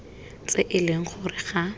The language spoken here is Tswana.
tse e leng gore ga